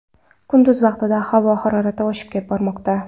Kunduz vaqtida havo harorati oshib bormoqda.